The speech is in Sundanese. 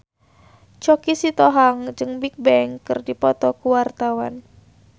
Choky Sitohang jeung Bigbang keur dipoto ku wartawan